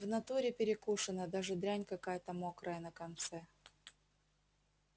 в натуре перекушена даже дрянь какая-то мокрая на конце